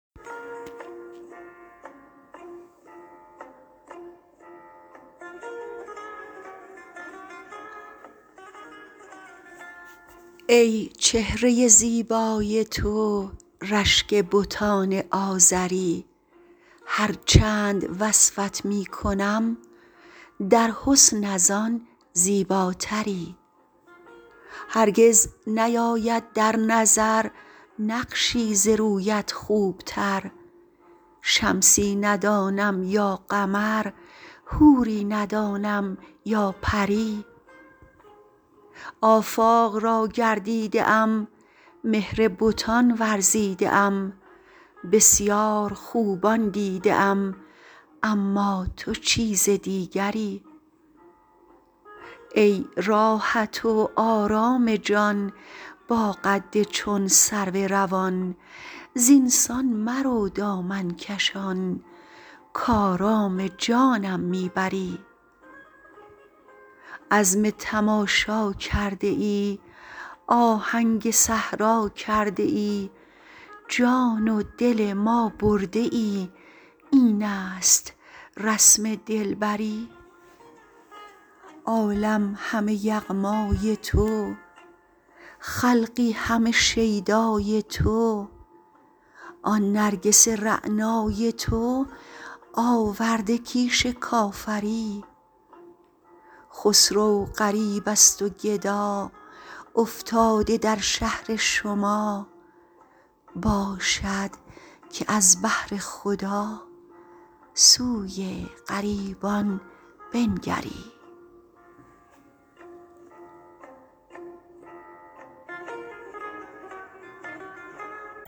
ای چهره زیبای تو رشک بتان آزری هر چند وصفت می کنم در حسن از آن زیباتری هرگز نیاید در نظر نقشی ز رویت خوبتر شمسی ندانم یا قمر حوری ندانم یا پری آفاق را گردیده ام مهر بتان ورزیده ام بسیار خوبان دیده ام اما تو چیز دیگری ای راحت و آرام جان با قد چون سرو روان زینسان مرو دامن کشان کآرام جانم می بری عزم تماشا کرده ای آهنگ صحرا کرده ای جان و دل ما برده ای این است رسم دلبری عالم همه یغمای تو خلقی همه شیدای تو آن نرگس رعنای تو آورده کیش کافری خسرو غریب است و گدا افتاده در شهر شما باشد که از بهر خدا سوی غریبان بنگری